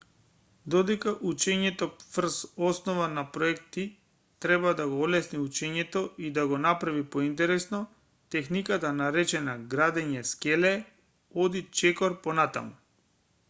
додека учењето врз основа на проекти треба да го олесни учењето и да го направи поинтересно техниката наречена градење скеле оди чекор понапред